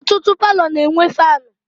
Ọtụtụ palọ na-enwe faanụ.